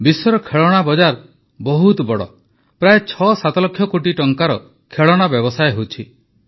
ବିଶ୍ୱର ଖେଳଣା ବଜାର ବହୁତ ବଡ଼ ପ୍ରାୟଃ ୬୭ ଲକ୍ଷ କୋଟି ଟଙ୍କାର ଖେଳଣା ବ୍ୟବସାୟ ହେଉଛି